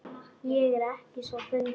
Ég er ekki svo fundvís